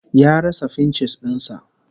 Ya rasa fincis din sa